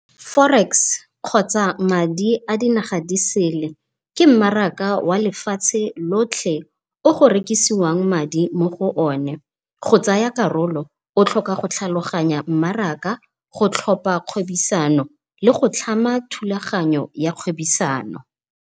Forex kgotsa madi a di naga disele ke mmaraka wa lefatshe lotlhe, o go rekisiwang madi mo go o ne. Go tsaya karolo, go tlhoka go tlhaloganya mmaraka go tlhopha kgodisano le go tlhama thulaganyo ya kgwebisano.